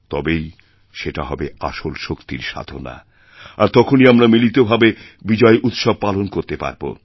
তবেই সেটা হবে আসল শক্তির সাধনা আর তখনই আমরা মিলিতভাবে বিজয় উৎসব পালন করতেপারব